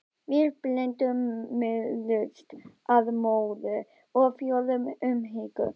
Við blinduðumst af móður- og föðurlegri umhyggju.